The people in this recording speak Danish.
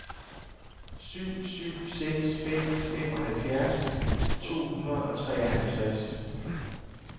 syv syv seks fem femoghalvfjerds to hundrede og treoghalvtreds